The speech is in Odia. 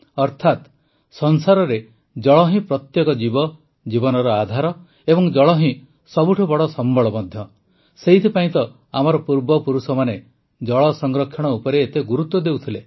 ଅର୍ଥାତ ସଂସାରରେ ଜଳ ହିଁ ପ୍ରତ୍ୟେକ ଜୀବ ଜୀବନର ଆଧାର ଅଟେ ଏବଂ ଜଳ ହିଁ ସବୁଠୁ ବଡ଼ ସମ୍ବଳ ମଧ୍ୟ ଅଟେ ସେଥିପାଇଁ ତ ଆମର ପୂର୍ବପୁରୁଷମାନେ ଜଳ ସଂରକ୍ଷଣ ଉପରେ ଏତେ ଗୁରୁତ୍ୱ ଦେଉଥିଲେ